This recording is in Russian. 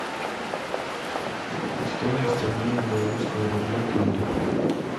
стоимость обмена белорусского рубля к лире